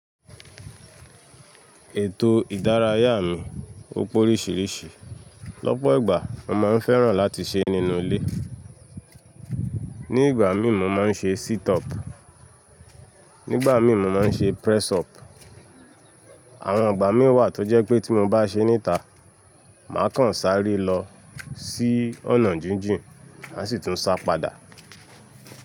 Ètò ìdárayá mi, ó pó oríṣiríṣi. Lọ́pọ̀ ìgbà mo máa ń fẹ́ràn láti ṣe nínú ilé. Ní ìgbà mí ì mo máa ń ṣe sit up, nígbà mí ì mo máa ń ṣe press up. Àwọn ìgbà mí wà tó jẹ́ pé tí mo bá ṣe níta, màá kàn sáré lọ sí ọ̀nà jínjìn, mà sì tún sa padà.